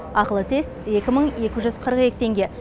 ақылы тест екі мың екі жүз қырық екі теңге